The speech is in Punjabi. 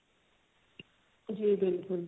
ਜੀ ਬਿਲਕੁਲ